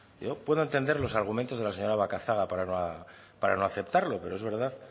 yo puedo entender los argumentos de la señora macazaga para no aceptarlo pero es verdad